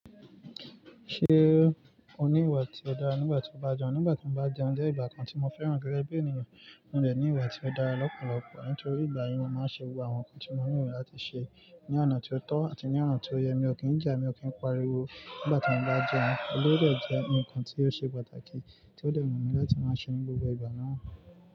Ṣé o ní ìwà tí ó dára nígbà tí o bá ń jẹun? Nígbà tí mo bá ń jẹun je ìgbà kan tí mo fẹ́ràn gẹ́gẹ́ bí ènìyàn, mó dè ní ìwà tí ó dára lọ́pọ̀lọpọ̀. Nítorí ìgbà yẹn, mo máa ń ṣe àwọn nǹkan tí mo nwu mií láti ṣe ní ọ̀nà tí ó tọ́ àti ní ọ̀nà tí ó yẹ. Mi ò kí ń jà, mi ò kí ń pariwo nígbà tí mo bá ń jẹun. Ó dè jẹ́ ǹkan tí ó ṣe pàtàkì tí ó dè wù mí láti máa ṣe ní gbogbo ìgbà náà.